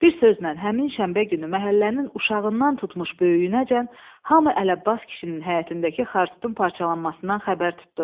Bir sözlə, həmin şənbə günü məhəllənin uşağından tutmuş böyüyünəcən hamı Əlabbas kişinin həyətindəki xartutun parçalanmasından xəbər tutdu.